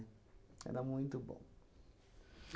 Era muito bom.